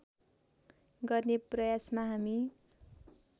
गर्ने प्रयासमा हामी